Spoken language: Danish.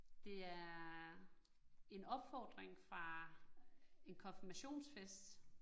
Det er en opfordring fra en konfirmationsfest